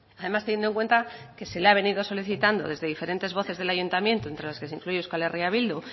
además teniendo en cuenta que se le ha venido solicitando desde diferentes voces del ayuntamiento entre las que se incluye euskal herria bildu